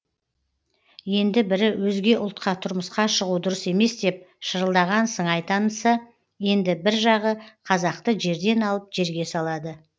енді бірі өзге ұлтқа тұрмысқа шығу дұрыс емес деп шырылдаған сыңай танытса енді бір жағы қазақты жерден алып жерге салады